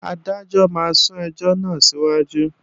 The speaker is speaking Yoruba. Adájọ́ máa sún ẹjọ́ náà síwájú